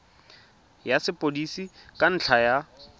ya sepodisi ka ntlha ya